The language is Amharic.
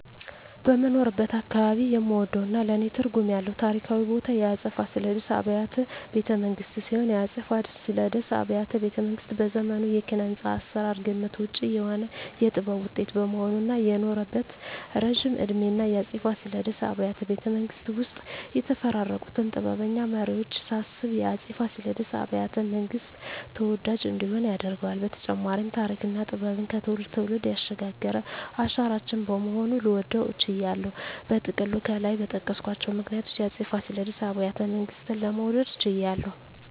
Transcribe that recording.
በምኖርበት አካባባቢ የምወደውና ለኔ ትርጉም ያለው ታሪካዊ ቦታ የአፄ ፋሲለደስ አብያተ ቤተመንግስት ሲሆን፣ የአፄ ፋሲለደስ አብያተ ቤተመንግስት በዘመኑ የኪነ-ህንጻ አሰራር ግምት ውጭ የሆነ የጥበብ ውጤት በመሆኑ እና የኖረበት እረጅም እድሜና የአፄ ፋሲለደስ አብያተ ቤተመንግስት ውስጥ የተፈራረቁትን ጥበበኛ መሪወች ሳስብ የአፄ ፋሲለደስ አብያተ- መንግስት ተወዳጅ እንዲሆን ያደርገዋል በተጨማሪም ተሪክና ጥበብን ከትውልድ ትውልድ ያሸጋገረ አሻራችን በመሆኑ ልወደው ችያለሁ። በጥቅሉ ከላይ በጠቀስኳቸው ምክንያቶች የአፄ ፋሲለደስ አብያተ ቤተመንግስትን ለመውደድ ችያለሁ